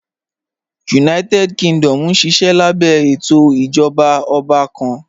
United Kingdom nṣiṣẹ̀ lábẹ̀ ètò ìjọba ọ̀bà kàn.